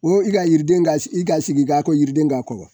O i ka yiriden ka i ka sigi ka ko yiriden ka kɔ